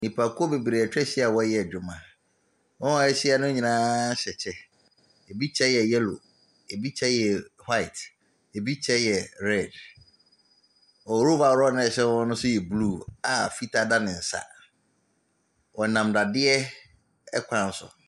Nnipakuo bebree atwa ahyia a wɔreyɛ adwuma. Wɔn a wɔahyia no nyinaa hyɛ kyɛ. Ebi kyɛ yɛ yellow, ebi kyɛ yɛ white, ebi kyɛ yɛ red. Wɔn overall a ɛhyɛ wɔn no nso yɛ blue a fitaa hyɛ wɔn nsa. Wɔnam dadeɛ kwan so.